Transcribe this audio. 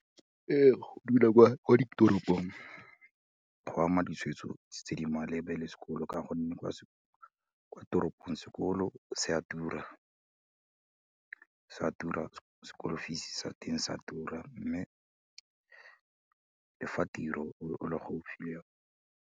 Go dula kwa ditoropong, go ama ditshwetso tse di maleba le sekolo ka gonne, kwa toropong sekolo se a tura, se a tura school fee-se sa teng sa tura, mme le fa tiro o le gaofi le yone.